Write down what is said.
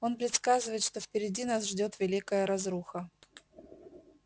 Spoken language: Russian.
он предсказывает что впереди нас ждёт великая разруха